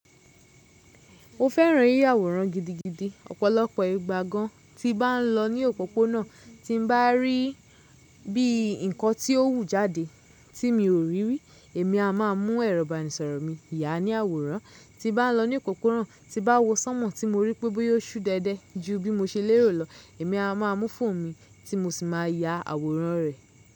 Mo fẹ́ràn yíyàwòrán gidigidi. Ọ̀pọ̀lọpọ̀ ìgbà gan tí bá n lọ ní òpópónà tí n bá rí bí nǹkan tí ó wù jáde tí mi ò rí rí èmi a má a mú ẹrọ̀bànisọ̀rọ̀ mi yà á ní àwòrán. Tí bá n lọ ní òpópónà tí bá wo sánmọ̀ tí mo rí pé bóyá o súdẹ̀dẹ̀ ju bí mo ṣe lérò lọ, èmi a má a mú fóònù mi tí mo sì máa yà àwòrán rẹ̀.